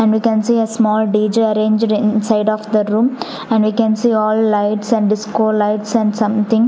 and we can see a small D_J arranged inside of the room and we can see all lights and disco lights and something.